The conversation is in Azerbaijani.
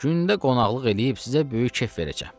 Gündə qonaqlıq eləyib sizə böyük kef verəcəm.